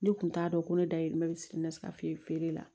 Ne kun t'a dɔn ko ne dayirimɛ bɛ siri na fɛ feere la